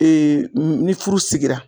ni furu sigira.